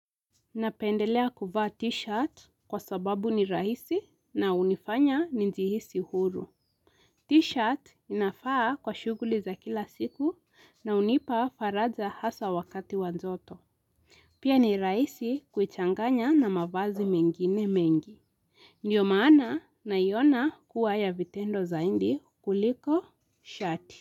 Napendelea kuvaa t-shirt kwa sababu ni rahisi na hunifanya njihisi huru. T-shirt inafaa kwa shughuli za kila siku na hunipa faraja hasa wakati wajoto. Pia ni rahisi kuichanganya na mavazi mengine mengi. Ndiyo maana naiona kuwa ya vitendo zaidi kuliko shirt.